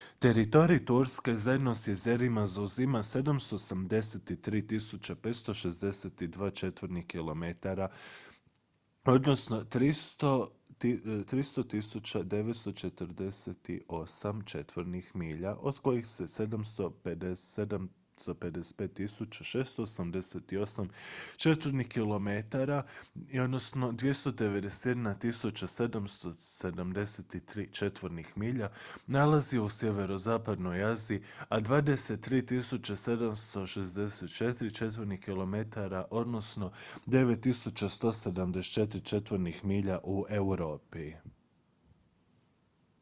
teritorij turske zajedno s jezerima zauzima 783.562 četvornih kilometara 300.948 četvornih milja od kojih se 755.688 četvornih kilometara 291.773 četvornih milja nalazi u sjeverozapadnoj aziji a 23.764 četvornih kilometara 9174 četvornih milja u europi